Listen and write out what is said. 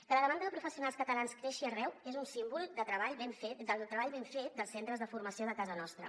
que la demanda de professionals catalans creixi arreu és un símbol del treball ben fet dels centres de formació de casa nostra